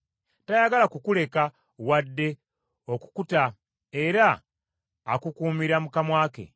tayagala kukuleka, wadde okukuta era akukuumira mu kamwa ke.